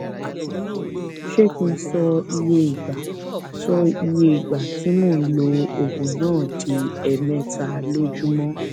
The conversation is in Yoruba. ṣé kí n sọ iye ìgbà sọ iye ìgbà tí mò ń lo oògùn náà di ẹẹmẹta lójúmọ